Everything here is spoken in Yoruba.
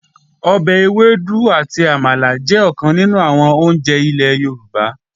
Ọbẹ̀ ewédú àti àmàlà jẹ́ ọ̀kan nínú àwọn oúnjẹ ilẹ̀ Yorùbá